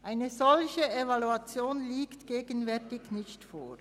Eine solche Evaluation liegt gegenwärtig nicht vor.